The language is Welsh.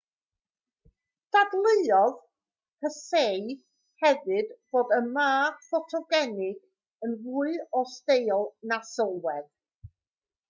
dadleuodd hsieh hefyd fod y ma ffotogenig yn fwy o steil na sylwedd